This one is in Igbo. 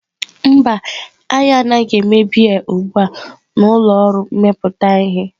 Mba, anyị anaghị eme biya ugbu a na ụlọ ọrụ mmepụta ihe.